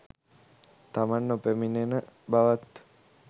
තමන් නොපැමිණෙන බවත්